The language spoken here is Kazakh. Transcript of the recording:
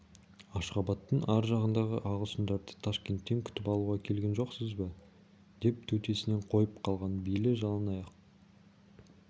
ашғабадтың ар жағындағы ағылшындарды ташкенттен күтіп алуға келген жоқсыз ба деп төтесінен қойып қалған бейли жалаңаяқ